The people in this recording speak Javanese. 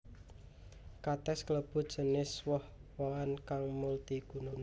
Katès klebu jinis woh wohan kang multiguna